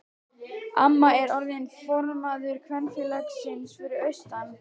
Amma er orðin formaður kvenfélagsins fyrir austan.